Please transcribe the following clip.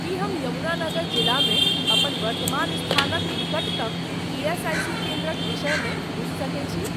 की हम यमुनानगर जिलामे अपन वर्तमान स्थानक निकटतम ईएसआईसी केन्द्रक विषयमे बुझि सकैत छी?